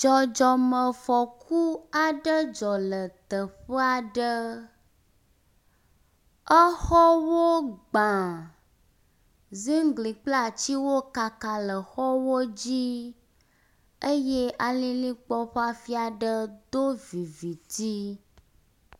Dzɔdzɔme fɔku aɖe dzɔ le teƒea ɖe. Exɔwo gbã, ziŋgli kple atsiwo kaka le xɔwo dzi eye alilikpo ƒe afi ɖe do viviti.